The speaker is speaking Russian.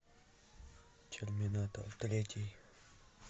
терминатор третий